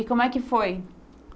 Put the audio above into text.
E como é que foi?